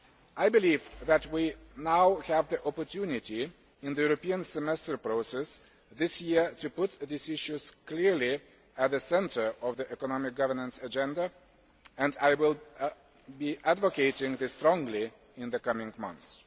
I believe that we now have the opportunity, with the European Semester process this year, to put these issues clearly at the centre of the economic governance agenda, and I will be advocating this strongly in the coming months.